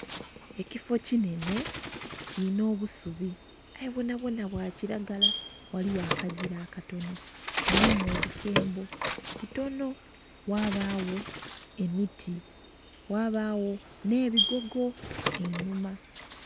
Ekifoo kinhenhe kirinha obusubi aye bwonabwona bwakiragala ghaligho akagira akatono mulimu obukembo butono ghabagho emiti, ghabagho n'ebigogo einhuma.